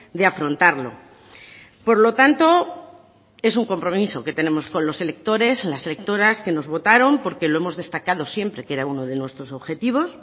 de afrontarlo por lo tanto es un compromiso que tenemos con los electores las electoras que nos votaron porque lo hemos destacado siempre que era uno de nuestros objetivos